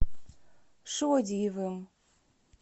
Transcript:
шодиевым